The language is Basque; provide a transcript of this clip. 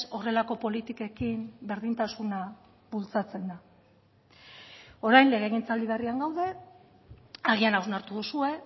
horrelako politikekin berdintasuna bultzatzen da orain legegintzaldi berrian gaude agian hausnartu duzue